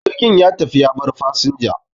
jirgin ya tafi ya bar fasinja